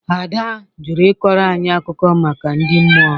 Ada jụrụ ị kọrọ anyị akụkọ maka ndị mmụọ.